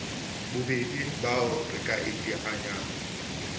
babedi bao re ka iteanyang